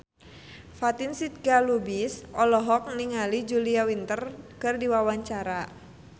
Fatin Shidqia Lubis olohok ningali Julia Winter keur diwawancara